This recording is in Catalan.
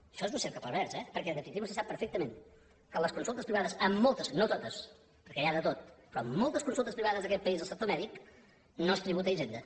això és un cercle pervers eh perquè en definitiva vostè sap perfectament que en les consultes privades en moltes no totes perquè hi ha de tot però en moltes consultes privades d’aquest país del sector mèdic no es tributa a hisenda